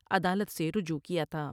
عدالت سے رجوع کیا تھا ۔